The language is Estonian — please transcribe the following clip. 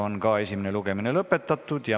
Esimene lugemine on lõpetatud.